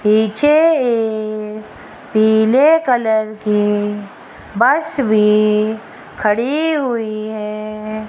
पीछे ए पीले कलर की बस भी खड़ी हुई है।